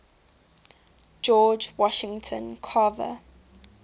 george washington carver